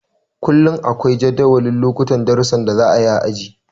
Kullum akwai jadawalin lokutan darusan da za a yi a aji.